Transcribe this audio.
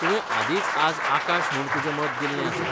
तुवें आदींच आज आकाश म्हूण तुजें मत दिल्लें आसा.